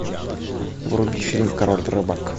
вруби фильм король рыбак